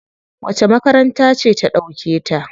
Wace makaranta ce ta ɗauke ta?